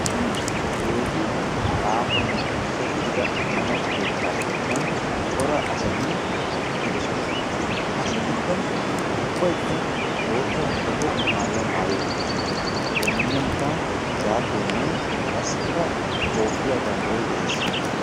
Keehi aahonne gita gidida ammano keettaa sinttan cora asati eqqidosona. Ha asatikka ubbaykka bootta muqaqe maayuwa maayi uttidosona. Eta miiyyiyankka zaafeenne qassikka toophphiya banddiray de'ees.